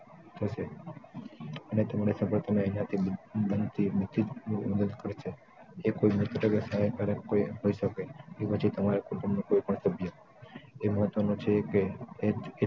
થશે અને suppose તમે અહિયાં થી બનતી બીજી જ કોઈ મદદ કરશે એ કોઈ મોટા સાહિત્ય કાર પણ હોય શકે કે પછી તમારા કુટુંબનું કોઈ પણ સભ્ય તે મહત્વનું છે કે